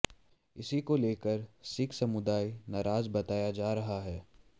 इसे को लेकर सिख समुदाय नाराज बताया जा रहा है